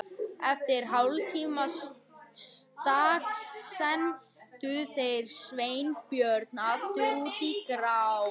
Eftir hálftíma stagl sendu þeir Sveinbjörn aftur út í grá